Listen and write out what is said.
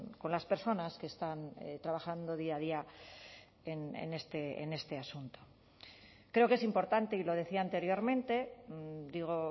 con las personas que están trabajando día a día en este asunto creo que es importante y lo decía anteriormente digo